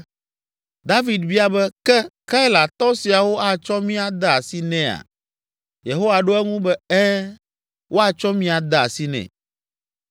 David bia be, “Ɖe Keilatɔ siawo atsɔ mí ade asi nɛa?” Yehowa ɖo eŋu be, “Ɛ̃, woatsɔ mi ade asi nɛ.”